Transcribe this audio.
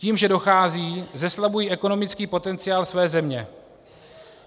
Tím, že odcházejí, zeslabují ekonomický potenciál své země.